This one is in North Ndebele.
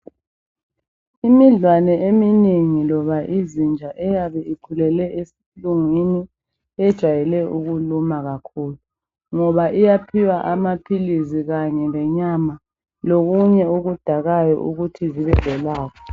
Imidlwane eminengi loba izinja eyabe ikhulele esilungwini ejwayele ukuluma kakhulu ngoba iyaphiwa amaphilisi kanye lenyama lokunye okudakayo ukuthi zibe lolaka.